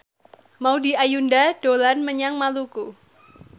Maudy Ayunda dolan menyang Maluku